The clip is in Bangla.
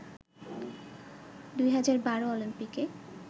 ২০১২ অলিম্পিকে